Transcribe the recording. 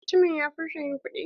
Mutumin ya furta yin kuɗi?